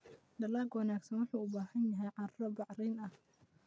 Dalagga wanaagsan wuxuu u baahan yahay carro bacrin ah.